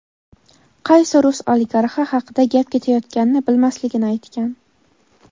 qaysi rus oligarxi haqida gap ketayotganini bilmasligini aytgan.